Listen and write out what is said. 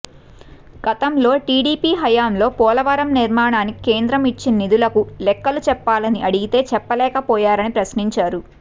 గతంలో టీడీపీ హయాంలో పోలవరం నిర్మాణానికి కేంద్రం ఇచ్చిన నిధులకు లెక్కలు చెప్పాలని అడిగితే చెప్పలేకపోయారని ప్రశ్నించారు